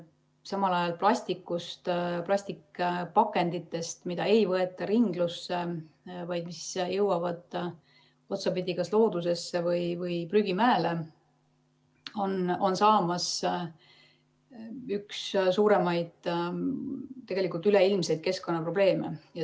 Samal ajal on plastpakenditest, mida ei võeta ringlusse, vaid mis jõuavad otsapidi kas loodusesse või prügimäele, saamas tegelikult üks suuremaid üleilmseid keskkonnaprobleeme.